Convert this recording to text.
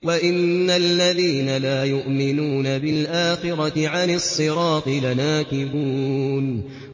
وَإِنَّ الَّذِينَ لَا يُؤْمِنُونَ بِالْآخِرَةِ عَنِ الصِّرَاطِ لَنَاكِبُونَ